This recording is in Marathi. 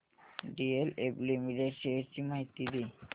डीएलएफ लिमिटेड शेअर्स ची माहिती दे